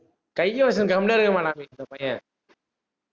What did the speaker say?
கைய வச்சுட்டு, கம்முனு இருக்க மாட்டான் இந்த பையன்